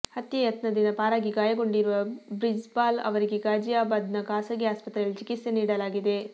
ಹತ್ಯೆ ಯತ್ನದಿಂದ ಪಾರಾಗಿ ಗಾಯಗೊಂಡಿರುವ ಬ್ರಿಜ್ಪಾಲ್ ಅವರಿಗೆ ಗಾಜಿಯಾಬಾದ್ನ ಖಾಸಗಿ ಆಸ್ಪತ್ರೆಯಲ್ಲಿ ಚಿಕಿತ್ಸೆ ನೀಡಲಾಗಿದೆ